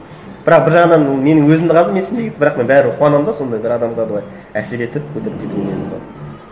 бірақ бір жағынан ол менің өзімді қазір менсінбей кетті бірақ мен бәрібір қуанамын да сондай бір адамға былай әсер етіп көтеріліп кетуіне мысалы